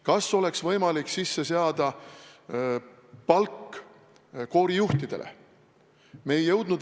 Kas oleks võimalik sisse seada palk koorijuhtidele?